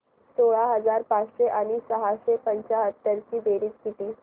सोळा हजार पाचशे आणि सहाशे पंच्याहत्तर ची बेरीज किती